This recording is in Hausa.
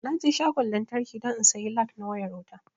Naje shagon lantraki don in sayi lag na wayar wuta